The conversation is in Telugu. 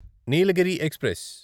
నీలగిరి ఎక్స్ప్రెస్